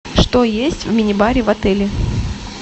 что есть в минибаре в отеле